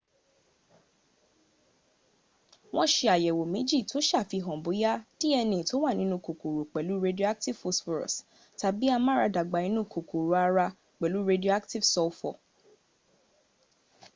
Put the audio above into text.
wọ́n se àyẹ̀wò méjì tó sàfihàn bóyá dna tó wà nínú kòkòrò pẹ̀lú radioactive phosphorus tàbí amáradàgbà inú kòkòrò ara pẹ̀lú radioactive sulfur